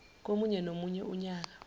komunye nomunye unyaka